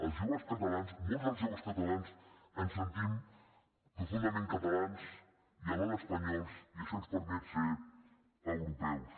els joves catalans molts dels joves catalans ens sentim profundament catalans i alhora espanyols i això ens permet ser europeus